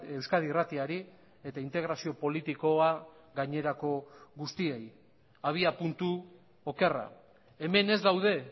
euskadi irratiari eta integrazio politikoa gainerako guztiei abiapuntu okerra hemen ez daude